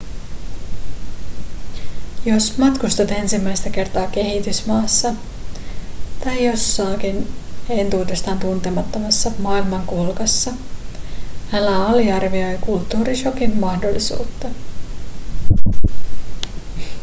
jos matkustat ensimmäistä kertaa kehitysmaassa tai jossakin entuudestaan tuntemattomassa maailmankolkassa älä aliarvioi kulttuurišokin mahdollisuutta